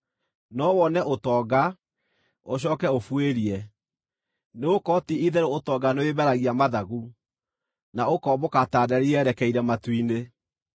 No wone ũtonga, ũcooke ũbuĩrie, nĩgũkorwo ti-itherũ ũtonga nĩwĩmeragia mathagu, na ũkombũka ta nderi yerekeire matu-inĩ.